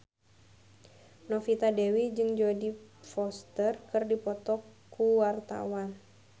Novita Dewi jeung Jodie Foster keur dipoto ku wartawan